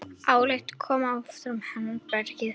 Áslaug kom eftir hádegi.